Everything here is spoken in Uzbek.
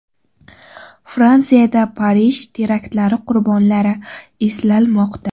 Fransiyada Parij teraktlari qurbonlari eslanmoqda.